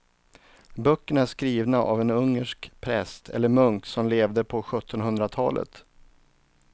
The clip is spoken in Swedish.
Böckerna är skrivna av en ungersk präst eller munk som levde på sjuttonhundratalet.